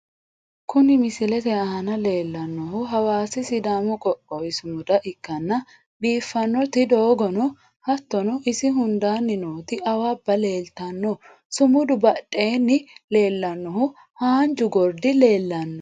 Kuni misilete aana leellannohu hawaasi sidaamu qoqowi sumuda ikkanna, biiffannoti doogono hattono isi hundaanni nooti awabba leeltanno sumudu badheenni leellannohu haanju gordi leellanno.